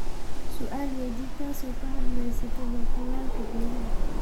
Sual weydix taaso kahadhkeyso talalka geedhaha.